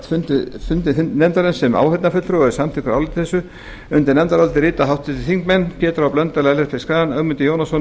fundi nefndarinnar sem áheyrnarfulltrúi og er samþykkur áliti þessu undir nefndarálitið rita háttvirtir þingmenn pétur h blöndal ellert b schram ögmundur jónasson